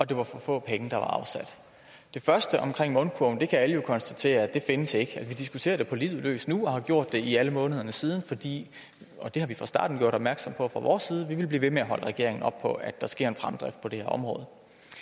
det var for få penge der var afsat det første mundkurven kan alle jo konstatere ikke findes altså vi diskuterer det på livet løs nu og har gjort det i alle månederne siden fordi og det har vi fra starten gjort opmærksom på fra vores side vi vil blive ved med at holde regeringen op på at der sker en fremdrift på det her område